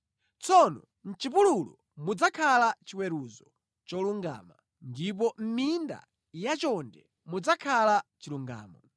Tsono mʼchipululu mudzakhala chiweruzo cholungama ndipo mʼminda yachonde mudzakhala chilungamo.